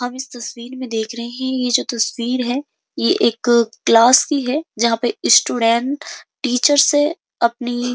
हम इस तस्वीर में देख रहे हैं। यह जो तस्वीर है। यह एक क्लास की है जहाँ पे स्टूडेंट टीचर से अपनी --